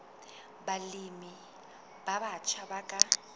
balemi ba batjha ba ka